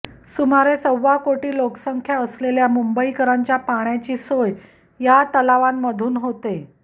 सुमारे सव्वा कोटी लोकसंख्या असलेल्या मुंबईकरांच्या पाण्याची सोय या तलावांमधून होते